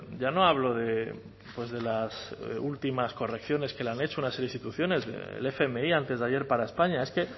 ya no hablo de las últimas correcciones que le han hecho unas instituciones el fmi antes de ayer para españa es que